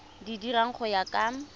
di dira go ya ka